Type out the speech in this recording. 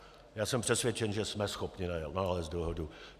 Já jsem přesvědčen, že jsme schopni nalézt dohodu.